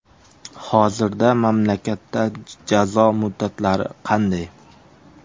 Hozirda mamlakatda jazo muddatlari qanday?.